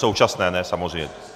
Současné ne, samozřejmě.